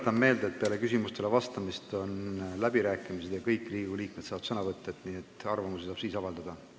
Tuletan meelde, et peale küsimustele vastamist on läbirääkimised ja kõik Riigikogu liikmed saavad sõna võtta, nii et siis saab arvamusi avaldada.